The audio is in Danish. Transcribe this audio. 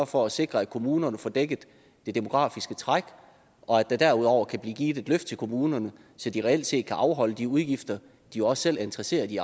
for at sikre at kommunerne får dækket det demografiske træk og at der derudover kan blive givet et løft til kommunerne så de reelt set kan afholde de udgifter de også selv er interesseret i